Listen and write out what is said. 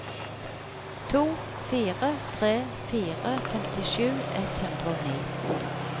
to fire tre fire femtisju ett hundre og ni